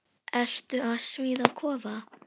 Ertu að smíða kofa?